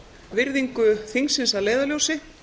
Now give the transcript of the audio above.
virðingu þingsins að leiðarljósi